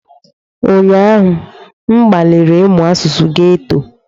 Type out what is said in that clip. Ụnyaahụ, m gbalịrị ịmụ asụsụ geto.